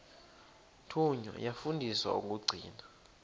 thunywa yafundiswa ukugcina